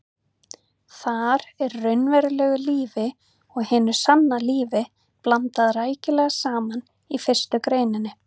Þar er raunverulegu lífi og hinu sanna lífi blandað rækilega saman í fyrstu greininni.